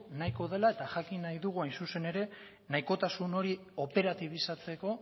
nahiko dela eta jakin nahi dugu hain zuzen ere nahikotasun hori operatibizatzeko